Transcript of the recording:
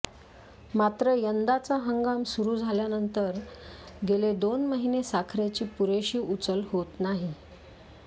मात्र यंदाचा हंगाम सुरु झाल्यानंतर गेले दोन महिने साखरेची पुरेशी उचल होत नाही